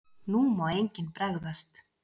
NÚ MÁ ENGINN BREGÐAST!